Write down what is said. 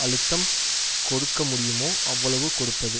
அழுத்தம் கொடுக்கமுடியுமோ அவ்வளவு கொடுப்பது